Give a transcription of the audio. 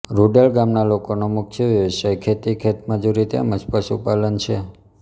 રૂડેલ ગામના લોકોનો મુખ્ય વ્યવસાય ખેતી ખેતમજૂરી તેમ જ પશુપાલન છે